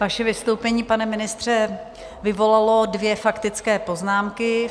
Vaše vystoupení, pane ministře, vyvolalo dvě faktické poznámky.